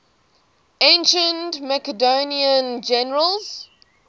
ancient macedonian generals